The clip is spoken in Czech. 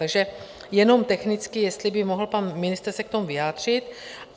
Takže jenom technicky jestli by mohl pan ministr se k tomu vyjádřit.